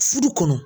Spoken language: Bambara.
Furu kɔnɔ